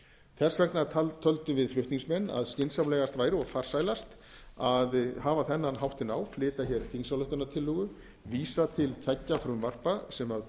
þess vegna töldum við flutningsmenn að skynsamlegast væri og farsælast að hafa þennan háttinn á flytja hér þingsályktunartillögu vísa til tveggja frumvarpa sem